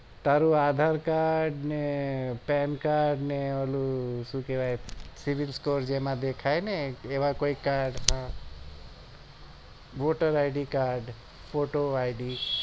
તારું આધાર card ને PAN card ને ઓલું શું કેવાય sivil score જેમાં દેખાય ને એવા કોઈ cardwhoter id card photo id